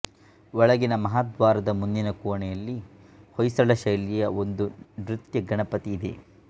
ಒಳಗಿನ ಮಹಾದ್ವಾರದ ಮುಂದಿನ ಕೋಣೆಯಲ್ಲಿ ಹೊಯ್ಸಳ ಶೈಲಿಯ ಒಂದು ನೃತ್ಯಗಣಪತಿ ಇದೆ